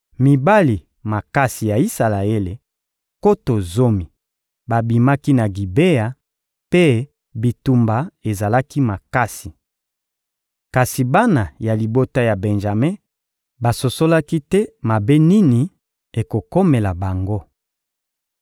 Mibali makasi ya Isalaele, nkoto zomi, babimaki na Gibea; mpe bitumba ezalaki makasi. Kasi bana ya libota ya Benjame basosolaki te mabe nini ekokomela bango.